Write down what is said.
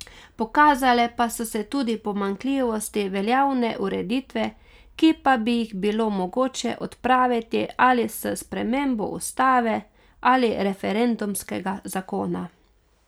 Pokazale pa so se tudi pomanjkljivosti veljavne ureditve, ki pa bi jih bilo mogoče odpraviti ali s spremembo ustave ali referendumskega zakona.